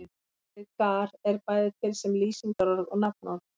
Orðið gar er bæði til sem lýsingarorð og nafnorð.